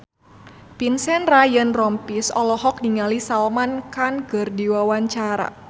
Vincent Ryan Rompies olohok ningali Salman Khan keur diwawancara